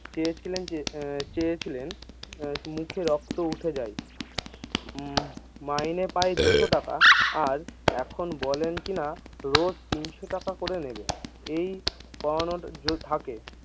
চেয়েছিলেন যে এ চেয়েছিলেন মুখে রক্ত উঠে যায় উম মাইনে পায় দুশো টাকা আর এখন বলেন কিনা রোজ তিনশো টাকা করে নিবেন এই পাওয়ানোর যো থাকে।